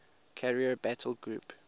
carrier battle group